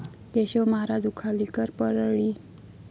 Keshav Maharaj Ukhalikar Parli